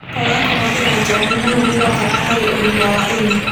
Kwaga kũhũthĩra njohĩ mũno nĩ gwa bata harĩ ũgima wa ĩnĩ